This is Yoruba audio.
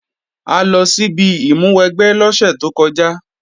A lọ síbi ìmúwẹgbẹ́ lọ́sẹ̀ tó kọjá